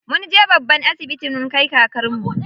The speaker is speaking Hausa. Munje babban asibiti mun kai kakarmu.